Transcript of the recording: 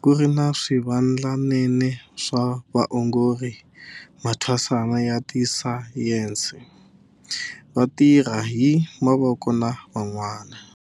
ku ri na swivandlanene swa vaongori, mathwasana ya tisayense, vatirha hi mavoko na van'wana.